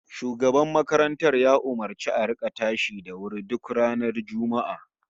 Shugaban makarantar ya umurci a rika tashi da wuri duk ranar Juma'a